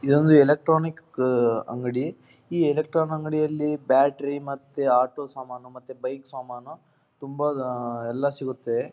ಇದೊಂದು ಎಲೆಕ್ಟ್ರಾನಿಕ್ ಅಹ್ ಅಹ್ ಅಂಗಡಿ ಈ ಎಲೆಕ್ಟ್ರಾನಿಕ್ ಅಂಗಡಿಯಲ್ಲಿ ಬ್ಯಾಟರಿ ಮತ್ತೆ ಆಟೋ ಸಮಾನ್ ಮತ್ತೆ ಬೈಕ್ ಸಮಾನ್ ತುಂಬಾ ಎಲ್ಲಾ ಸಿಗುತ್ತೆ.